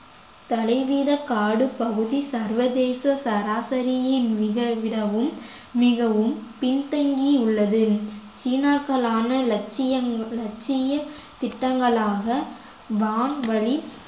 தலைவீத காடு பகுதி சர்வதேச சராசரியின் மிக விடவும் மிகவும் பின்தங்கி உள்ளது சீனாக்களான லட்சியம்மான லட்சிய திட்டங்களாக வான்வழி